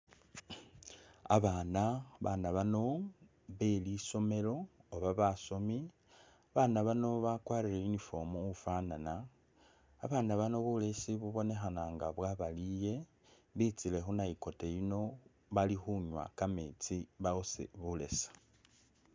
Abana, babana bano belisomelo oba basomi babana bano bakwarile uniform ufanana, babana bano bulesi bubonekhana nga bwabayile betsi khunakito yino balikhunywa kametsi bawose bulesi